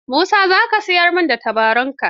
Musa za ka siyar min da tabaronka?